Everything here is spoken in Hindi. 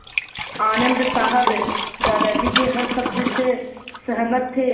आनन्द साहब दादाजी के हर शब्द से सहमत थे